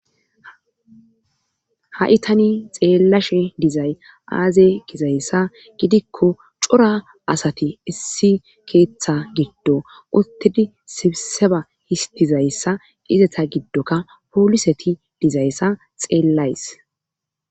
ha7i tani xeellashe dizay aaze gizayssa gidikko cora asati issi keeththa giddo uttidi sibseba histizayssa izeta giddokka pooliseti dizayssa xeellays